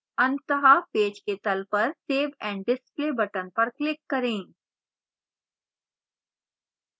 अंततः पेज के तल पर save and display button पर click करें